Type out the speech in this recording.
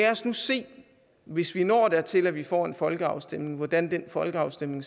os nu se hvis vi når dertil at vi får en folkeafstemning hvordan den folkeafstemning